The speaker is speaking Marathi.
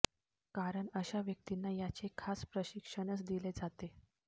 कारण अशा व्यक्तींना याचे खास प्रशिक्षणच दिले जाते